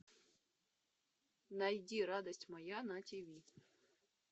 найди радость моя на тв